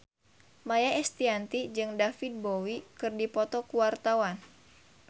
Maia Estianty jeung David Bowie keur dipoto ku wartawan